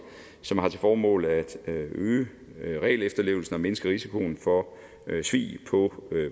som har til formål at øge regelefterlevelsen og mindske risikoen for svig på